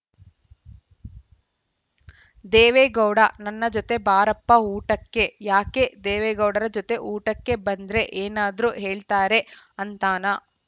ದೇವೇಗೌಡ ನನ್ನ ಜತೆ ಬಾರಪ್ಪ ಊಟಕ್ಕೆ ಯಾಕೆ ದೇವೇಗೌಡರ ಜತೆ ಊಟಕ್ಕೆ ಬಂದ್ರೆ ಏನಾದ್ರು ಹೇಳ್ತಾರೆ ಅಂತಾನಾ